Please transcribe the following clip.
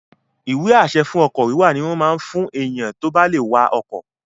Ìwé-àṣẹ fún ọkọ̀ wíwà ní wọ́n máa n fún èèyàn tó bá lè wa ọkọ̀